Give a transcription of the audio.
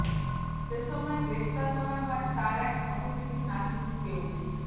সে সময় গ্রেপ্তার করা হয় তার এক সহযোগী নাজমুলকেও